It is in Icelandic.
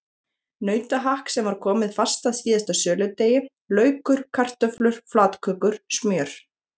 Nautahakk sem var komið fast að síðasta söludegi, laukur, kartöflur, flatkökur, smjör.